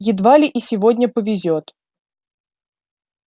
едва ли и сегодня повезёт